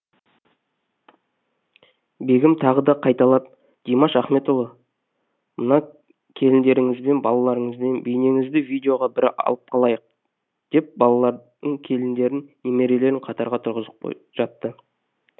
бегім тағы да қайталап димаш ахметұлы мына келіндеріңізбен балаларыңызбен бейнеңізді видеоға бір алып қалайық деп балаларын келіндерін немерелерін қатарға тұрғызып жатты